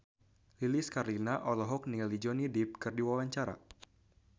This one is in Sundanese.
Lilis Karlina olohok ningali Johnny Depp keur diwawancara